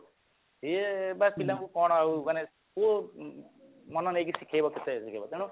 ସିଏ ବା ପିଲାଙ୍କୁ କଣ ଆଉ ଆମେ ସିଏ ମନ ଦେଇ ଶିଖେଇବ କେତେଟା ଦିଗରେ ତେଣୁ